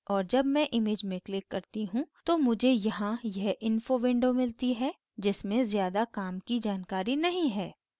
और जब मैं image में click करती हूँ तो मुझे यहाँ यह info window मिलती है जिसमे ज़्यादा काम की जानकारी नहीं है